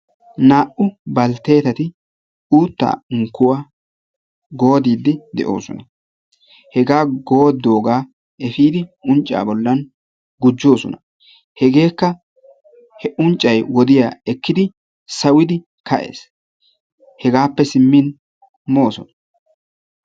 Naa"u balttetati uuttaa unkkuwa goodide de'oosona. Hega goodoga efiidi uncca bollan gujjoosona. Hegekka he unccay wodiyaa ekkidi sawudi kaa'ees. Hegaappe simmin moosona.